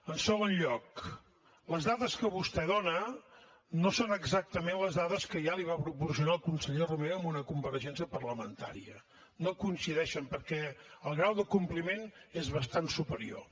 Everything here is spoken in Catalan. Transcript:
en segon lloc les dades que vostè dona no són exactament les dades que ja li va proporcionar el conseller romeva en una compareixença parlamentària no coincideixen perquè el grau de compliment és bastant superior